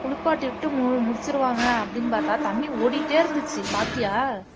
குளிப்பாட்டி விட்டு மு முடிச்சிருவாங்க அப்படின்னு பார்த்தா தண்ணி ஓடிட்டே இருந்துச்சு பார்த்தியா